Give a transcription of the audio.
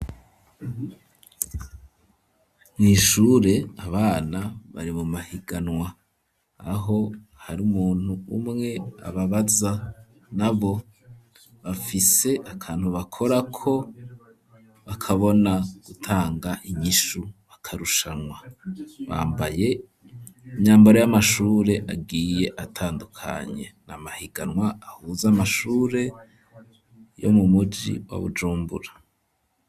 Mw'ishure abana bari mu mahiganwa, aho hari umuntu umwe ababaza, nabo bafise akantu bakorako bakabona gutanga inkishu, bakarushanwa; bambaye imyambaro y'amashure agiye atandukanye, ni amahiganwa ahuza amashure yo mu muji wa Bujumbura.